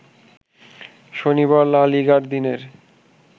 শনিবার লা লিগায় দিনের